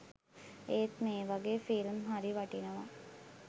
ඒත් මෙ වගේ ෆිල්ම් හරි වටිනව.